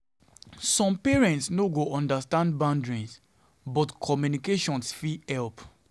Some parents Some parents no go understand boundaries, but communication fit help.